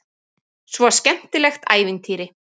Svo skemmtilegt ævintýri.